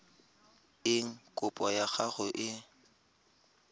eng kopo ya gago e